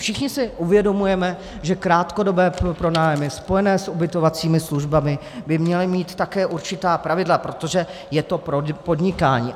Všichni si uvědomujeme, že krátkodobé pronájmy spojené s ubytovacími službami by měly mít také určitá pravidla, protože je to podnikání.